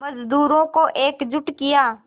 मज़दूरों को एकजुट किया